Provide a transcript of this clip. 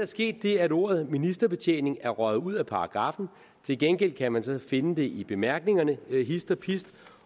sket det at ordet ministerbetjening er røget ud af paragraffen til gengæld kan man så finde det i bemærkningerne hist og pist